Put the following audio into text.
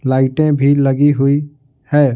लाइटें भी लगी हुई है।